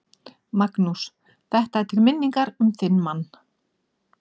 Magnús: Þetta er til minningar um þinn mann?